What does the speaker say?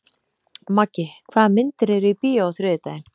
Maggi, hvaða myndir eru í bíó á þriðjudaginn?